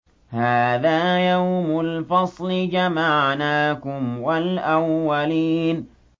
هَٰذَا يَوْمُ الْفَصْلِ ۖ جَمَعْنَاكُمْ وَالْأَوَّلِينَ